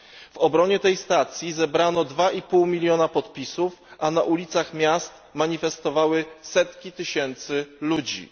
W obronie tej stacji zebrano 2,5 miliona podpisów, a na ulicach miast manifestowały setki tysięcy ludzi.